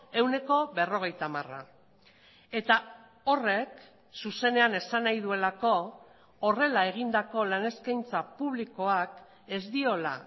ehuneko berrogeita hamara eta horrek zuzenean esan nahi duelako horrela egindako lan eskaintza publikoak ez diola